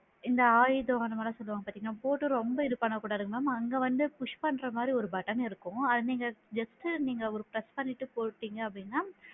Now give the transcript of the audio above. இந்த ஆயுதம் அந்த மாதிரிலா சொல்லுவாங்க பாத்திங்களா? போட்டு ரொம்ப இது பண்ண கூடாது ma'am அங்க வந்து push பண்ற மாதிரி ஒரு button இருக்கும் அங்க நீங்க just டு ஒரு press பண்ணிட்டுபோட்டிங்க அப்படின்னா